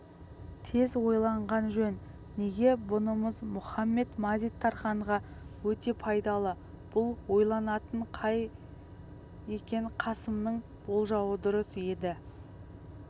тез ойланған жөн неге бұнымыз мұхамед-мазит-тарханға өте пайдалы бұл ойланатын жай екен қасымның болжауы дұрыс еді